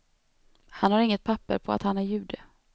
Han har inget papper på att han är jude.